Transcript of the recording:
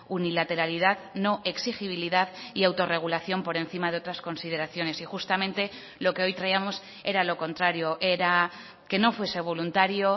unilateralidad no exigibilidad y autorregulación por encima de otras consideraciones y justamente lo que hoy traíamos era lo contrario era que no fuese voluntario